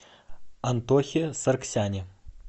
антохе саргсяне